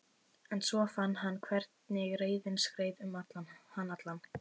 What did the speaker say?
En svo fann hann hvernig reiðin skreið um hann allan.